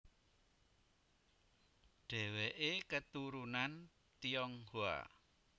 Dheweke keturunan Tionghoa